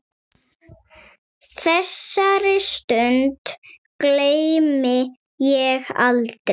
Þessari stund gleymi ég aldrei.